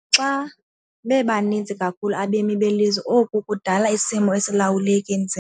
Xa bebaninzi kakhulu abemi belizwe oku kudala isimo esilawuleka.